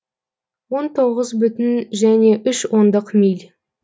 он тоғыз бүтін және үш ондық миль